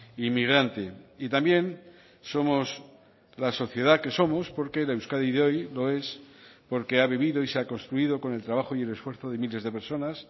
inmigrante y también somos la sociedad que somos porque la euskadi de hoy lo es porque ha vivido y se ha construido con el trabajo y el esfuerzo de miles de personas